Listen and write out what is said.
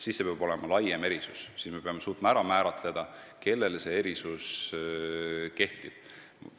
Siis see peab olema laiem erisus – me peame suutma ära määratleda, kellele see kehtib.